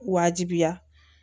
Wajibiya